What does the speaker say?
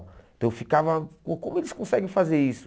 Então eu ficava, uh como eles conseguem fazer isso?